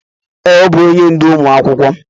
Ee, ọbụ onye ndú ụmụ akwụkwọ.